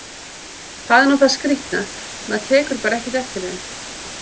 Það er nú það skrýtna, maður tekur bara ekkert eftir þeim!